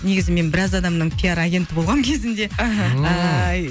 негізі мен біраз адамның пиар агенті болғамын кезінде аха